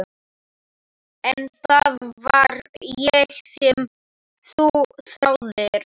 En það var ég sem þú þráðir.